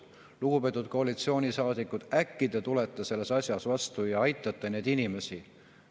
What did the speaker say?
Lugupeetud koalitsioonisaadikud, äkki te tulete selles asjas meile vastu ja aitate neid inimesi!